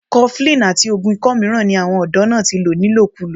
cuffling àti oògùn ikọ́ mìíràn ni àwọn ọ̀dọ́ náà ti lò ni lòkúlò